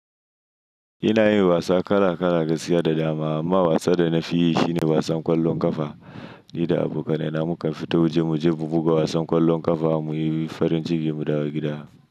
Ina yin wasa kala kala gaskiya da dama amma wasan da na fi yi shine wasan ƙwallon ƙafa. Ni da abokanai na mukan fita waje muje buga wasan ƙwallon ƙafa muyi farin jiki mu dawo gida.